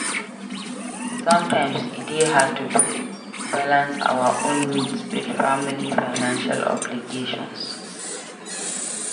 Sometimes e dey hard to balance our own needs with family financial obligations.